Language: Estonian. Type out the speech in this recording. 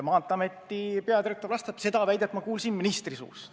Maanteeameti peadirektor vastab, et seda väidet kuulis ta ministri suust.